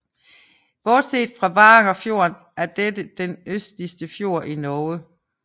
Bortset fra Varangerfjorden er dette den østligste fjord i Norge